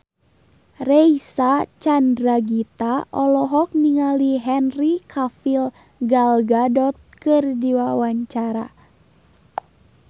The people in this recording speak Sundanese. Reysa Chandragitta olohok ningali Henry Cavill Gal Gadot keur diwawancara